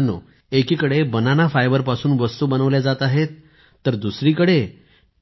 मित्रांनो एकीकडे banana fibre पासून वस्तू बनवल्या जात आहेत तर दुसरीकडे